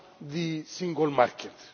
the single market.